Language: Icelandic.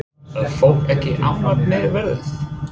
Er fólk ekki ánægt með veðrið?